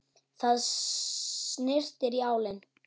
Það syrtir í álinn.